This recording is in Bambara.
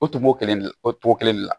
O togo kelen de la o togo kelen de la